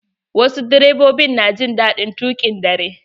Wasu direbobin na jin daɗin tuƙin dare.